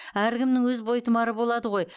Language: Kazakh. әркімнің өз бойтұмары болады ғой